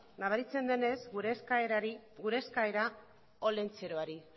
nabaritzen denez gure eskaera olentzerori